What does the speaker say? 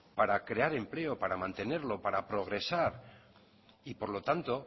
para crear empleo para mantenerlo para progresar y por lo tanto